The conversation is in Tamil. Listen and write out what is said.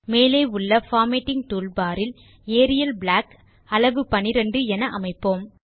மேலே உள்ள பார்மேட்டிங் டூல்பார் இல் ஏரியல் பிளாக் அளவு 12என அமைப்போம்